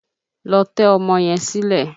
Lọ tẹ́ ọmọ yẹn sílẹ́!